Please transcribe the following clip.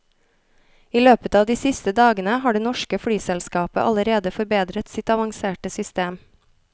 I løpet av de siste dagene har det norske flyselskapet allerede forbedret sitt avanserte system.